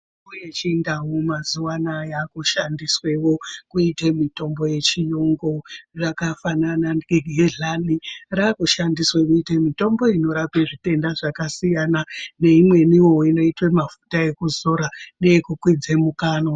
Mitombo yevhindau mazuwaana yaakushandisweo kuite mitombo uechiyungu zvakafanana negehlani raakushandiswe kurape zvitenda zvakasiyana neimwenio inoitwa mafuta ekuzora neekukwidza mukanwa.